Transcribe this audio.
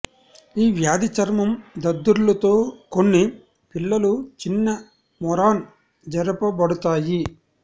ఈ వ్యాధి చర్మం దద్దుర్లు తో కొన్ని పిల్లలు చిన్న మెరూన్ జరుపబడతాయి